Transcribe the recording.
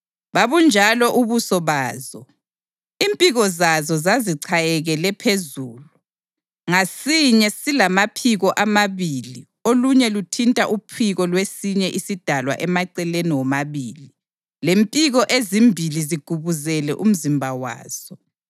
Babunjalo ubuso bazo. Impiko zazo zazichayekele phezulu; ngasinye silamaphiko amabili olunye luthinta uphiko lwesinye isidalwa emaceleni womabili, lempiko ezimbili zigubuzele umzimba waso.